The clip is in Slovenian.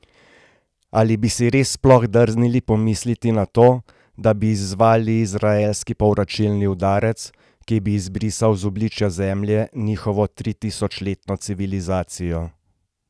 Ali bi si res sploh drznili pomisliti na to, da bi izzvali izraelski povračilni udarec, ki bi izbrisal z obličja Zemlje njihovo tritisočletno civilizacijo?